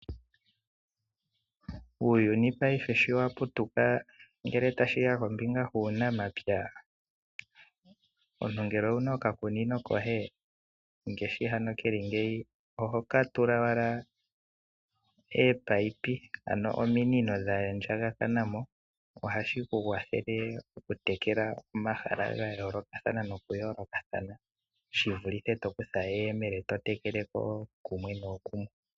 Uuyuni paife sho wa putuka ngele tashi ya kombinga yuunamapya, omuntu ngele owu na okakunino koye, oho ka tula owala ominino, ano ominino dha andjakana mo. Ohashi ku kwathele okutekela omahala ga yoolokathana, shi vulithe to kutha eyemele to tekele kooshimwe nooshimwe.